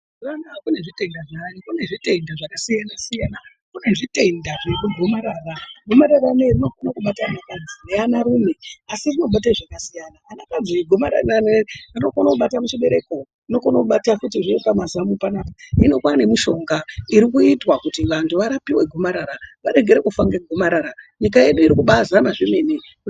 Mazu ano kunezvitenda zvayo kune zvitenda zvakasiyana-siyana. Kune zvitenda zvegomarara gomarara rinoiri rinokona kubata anakadzi neanarume asi rinobata zvakasiyana. Anakadzi gomarara re anokona kubata muchibereko rinokona kubatazve pamazamu panapa. Hino kwane mishonga irikuitwa kuti vantu varapive gomarara varegere kufa ngegomarara nyika yedu iri kubazama zvemene.